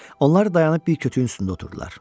Onlar dayanıb bir kütüyün üstündə oturdular.